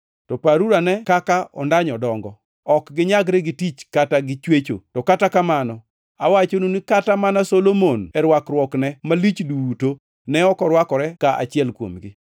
“Paruruane kaka ondanyo dongo. Ok ginyagre gi tich kata gi chwecho. To kata kamano awachonu ni kata mana Solomon e rwakruokne malich duto ne ok orwakore ka achiel kuomgi.